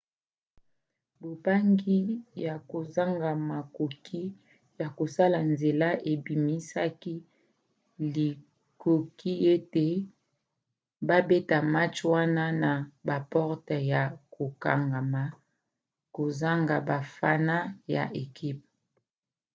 bobangi ya kozanga makoki ya kosala nzela ebimisaki likoki ete babeta match wana na baporte ya kokangama kozanga bafana ya ekipe